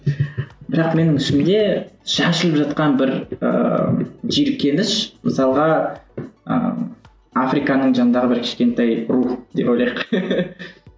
бірақ менің ішімде шашылып жатқан бір ііі жиіркеніш мысалға ыыы африканың жанындағы бір кішкентай рух деп ойлайық